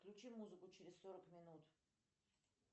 включи музыку через сорок минут